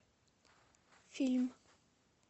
фильм